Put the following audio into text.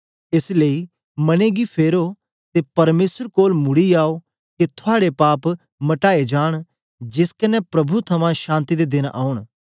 एस लेई मने गी फेरो ते परमेसर कोल मुड़ी आओ के थुआड़े पाप मटाए जांन जेस कन्ने प्रभु थमां शांति दे देन औन